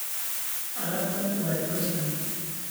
Alabtan waay culustaxay.